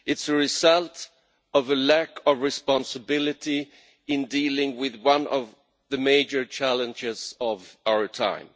It is the result of a lack of responsibility in dealing with one of the major challenges of our time.